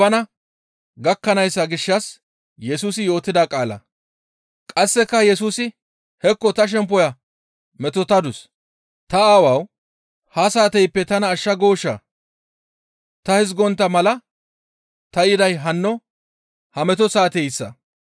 Qasseka Yesusi, «Hekko ta shemppoya metotadus; ‹Ta Aawawu! Ha saateyppe tana ashsha gooshaa?› Ta hizgontta mala ta yiday hanno ha meto saateyssa.